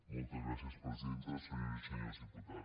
moltes gràcies presidenta senyores i senyors diputats